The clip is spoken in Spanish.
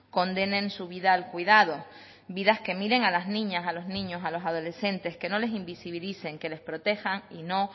condenen su vida al cuidado vidas que miren a las niñas a los niños a los adolescentes que no les invisibilicen que les protejan y no